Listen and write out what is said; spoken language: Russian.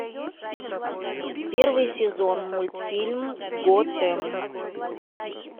первый сезон мультфильм готэм